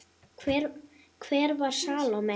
Hver var Salóme?